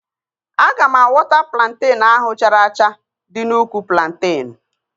Aga m awọta plantenu ahụ chara acha dị n'úkwù plantenu